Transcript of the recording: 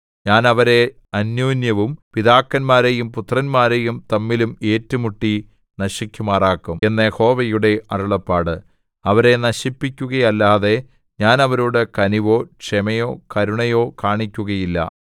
ഞാൻ അവരെ അന്യോന്യവും പിതാക്കന്മാരെയും പുത്രന്മാരെയും തമ്മിലും ഏറ്റുമുട്ടി നശിക്കുമാറാക്കും എന്ന് യഹോവയുടെ അരുളപ്പാട് അവരെ നശിപ്പിക്കുകയല്ലാതെ ഞാൻ അവരോടു കനിവോ ക്ഷമയോ കരുണയോ കാണിക്കുകയില്ല